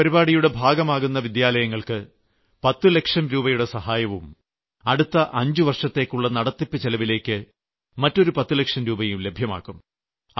ഈ പരിപാടിയുടെ ഭാഗമാകുന്ന വിദ്യാലയങ്ങൾക്ക് 10 ലക്ഷം രൂപയുടെ സഹായവും അടുത്ത 5 വർഷത്തേയ്ക്കുള്ള നടത്തിപ്പ് ചെലവിലേയ്ക്ക് മറ്റൊരു 10 ലക്ഷം രൂപയും ലഭ്യമാക്കും